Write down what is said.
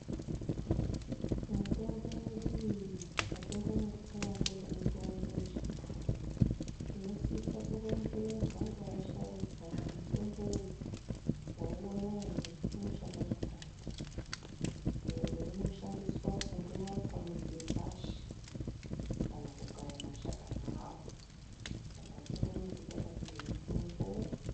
Mitombo yedu iyi atingomuki takangoti mutombo njee tinosisa kuronzerwa ngeasharukwa kuti mutombo uyu wauwona ere unoshanda zvakati ende unoshandiswa kunga watsa mudzi wepashi kana kukaya mashakani awo saka atingomuki takati uyu mutombo.